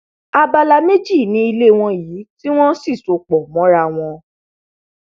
abala méjì ni ilé yìí ní tí wọn sì so pọ mọ ara wọn